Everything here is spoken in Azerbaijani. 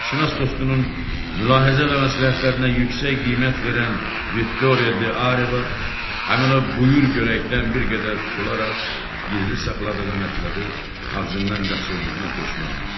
Sənətşünas dostunun mülahizə və məsləhətlərinə yüksək qiymət verən Victoria de Areva həmin o buyur görəkdən bir qədər tutularaq gizli saxladığı mətləbi ağzından qaçırdığına peşman oldu.